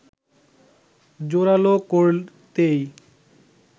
জোড়ালো করতেই